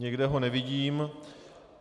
Nikde ho nevidím.